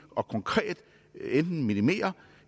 og konkret enten minimere